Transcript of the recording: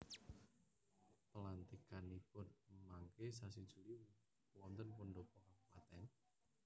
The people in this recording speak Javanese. Pelantikanipun mangke sasi Juli wonten pendhopo kabupaten?